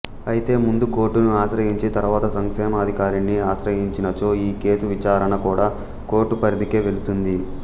అయితే ముందు కోర్టును ఆశ్రయించి తర్వాత సంక్షేమాధికారిని ఆశ్రయించినచో ఈ కేసు విచారన కూడా కోర్టు పరిధికే వెళుతుంది